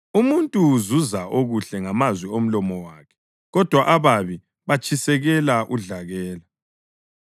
Umuntu uzuza okuhle ngamazwi omlomo wakhe, kodwa ababi batshisekela udlakela.